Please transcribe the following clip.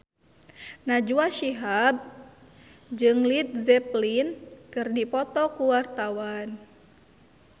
Najwa Shihab jeung Led Zeppelin keur dipoto ku wartawan